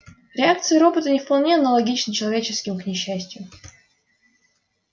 реакции робота не вполне аналогичны человеческим к несчастью